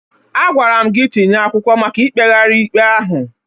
Agwara m gị tinye akwụkwọ maka ikpegharị ikpe ahụ!